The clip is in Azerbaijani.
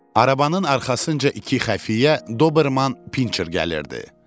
Arabanın arxasınca iki xəfiyyə Doberman Pincher gəlirdi.